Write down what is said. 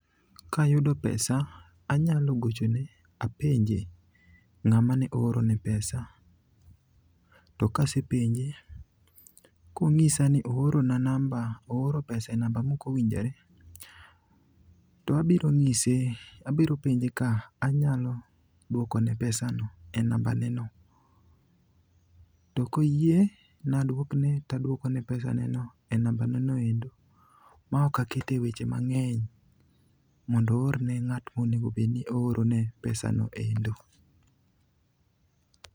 Kayudo pesa anyalo gochone apenje ng'ama ne oorone pesa. To kasepenje, konyisa ni ooro pesa e namba mokowinjore, to abiro penje ka anyalo dwokone pesano e namba ne no. To koyie na dwokne tadwoko ne pesaneno e namba ne no endo maok akete weche mang'eny mondo oorne ng'at monego obed ni oorone pesano endo.